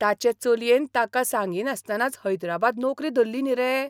ताचे चलयेन ताका सांगिनासतनाच हैदराबाद नोकरी धल्ली न्ही रे.